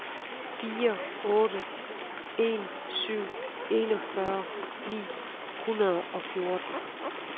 fire otte en syv enogfyrre ni hundrede og fjorten